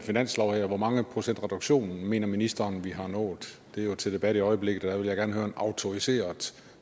finanslov her hvor mange procents reduktion mener ministeren vi har nået det er jo til debat i øjeblikket og jeg vil gerne høre en autoriseret